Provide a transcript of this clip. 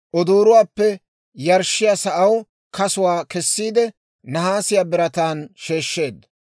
Odooruwaappe yarshshiyaa sa'aw kasuwaa kessiide, nahaasiyaa birataan sheeshsheedda.